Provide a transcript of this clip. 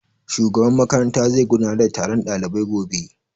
Shugaban makaranta zai gudanar da taron ɗalibai gobe